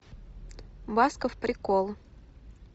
басков прикол